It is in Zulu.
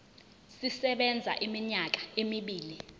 sisebenza iminyaka emibili